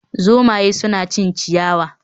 Zomaye suna cin ciyawa